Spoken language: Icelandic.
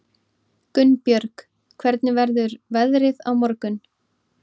Gunnbjörg, hvernig verður veðrið á morgun?